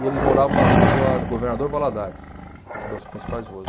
E eles moravam na rua Governador Valadares, que é uma das principais ruas.